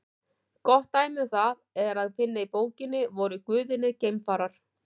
Gott dæmi um það er að finna í bókinni Voru guðirnir geimfarar?